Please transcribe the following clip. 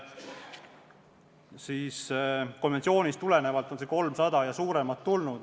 Ja sellestsamast konventsioonist tulenevalt on see kogumahutavus 300 ja enam.